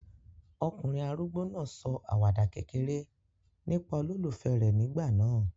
Ọkùnrin arúgbó náà sọ àwàdà kékeré nípa olólùfẹ́ rẹ̀ nígbà náà.